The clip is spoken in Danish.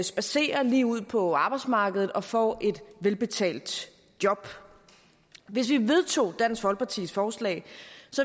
spadserer lige ud på arbejdsmarkedet og får et velbetalt job hvis vi vedtog dansk folkepartis forslag